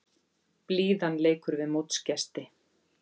Blíðan leikur við mótsgesti